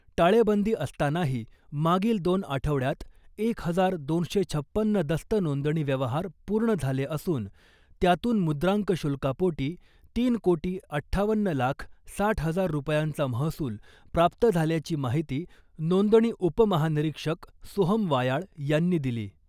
टाळेबंदी असतानाही मागील दोन आठवड्यात एक हजार दोनशे छपन्न दस्त नोंदणी व्यवहार पूर्ण झाले असून , त्यातून मुद्रांक शुल्कापोटी तीन कोटी अठ्ठावन्न लाख साठ हजार रुपयांचा महसूल प्राप्त झाल्याची माहिती नोंदणी उपमहानिरीक्षक सोहम वायाळ यांनी दिली .